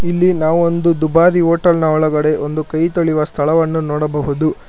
ಇಲ್ಲಿ ನಾವು ಒಂದು ದುಬಾರಿ ಹೋಟೆಲ್ ನ ಒಳಗಡೆ ಒಂದು ಕೈ ತೊಳೆಯುವ ಸ್ಥಳವನ್ನು ನೋಡಬಹುದು.